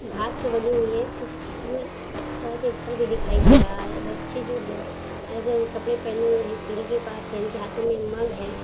घास से बंधी हुई है। कुछ दूर सर पे घर भी दिखाई दे रहा है। बच्चे जो है अलग-अलग कपड़े पहने हुए है। सीढ़ी के पास इनके हाथों में मग है।